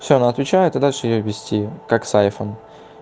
всё она отвечает и дальше её ввести как с айфон